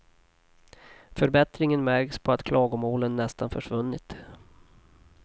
Förbättringen märks på att klagomålen nästan försvunnit.